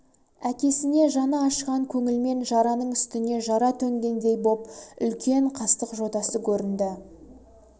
әкесіне жаны ашыған көңілмен жараның үстіне жара төнгендей боп үлкен қастық жотасы көрінді